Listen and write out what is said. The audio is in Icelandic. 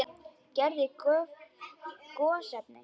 Gerð gosefna